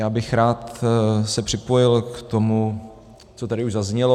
Já bych se rád připojil k tomu, co tady už zaznělo.